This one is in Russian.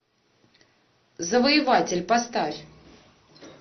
завоеватель поставь